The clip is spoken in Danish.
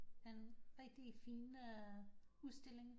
En rigtig fin øh udstilling